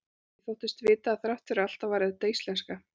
Ég þóttist vita að þrátt fyrir allt þá væri þetta íslenska.